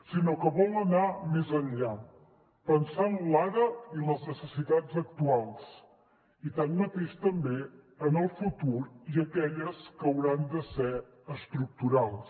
sinó que vol anar més enllà pensar en l’ara i les necessitats actuals i tanmateix també en el futur i aquelles que hauran de ser estructurals